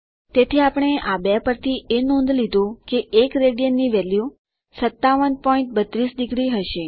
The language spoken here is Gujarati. તેથી આપણે આ બે પરથી એ નોંધ લીધું કે 1 રાડ ની વેલ્યુ 5732 ડિગ્રી હશે